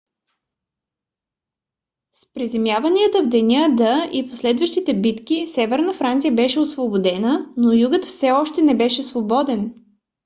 с приземяванията в деня д и последващите битки северна франция беше освободена но югът все още не беше свободен